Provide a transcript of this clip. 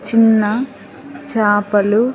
చిన్న చపలు.